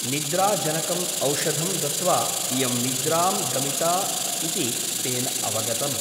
निद्रा जनकम् औषधं दत्त्वा इयं निद्रां गमिता ' इति तेन अवगतम् ।